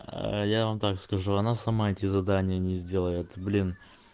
аа я вам так скажу она сама эти задание не сделает блин